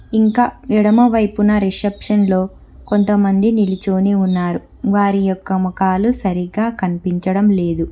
ఇంకా ఎడమవైపున రిసెప్షన్లో కొంతమంది నిలుచొని ఉన్నారు వారి యొక్క ముఖాలు సరిగ్గా కనిపించడం లేదు.